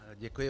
Děkuji.